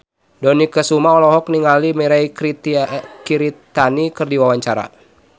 Dony Kesuma olohok ningali Mirei Kiritani keur diwawancara